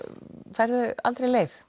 færðu aldrei leið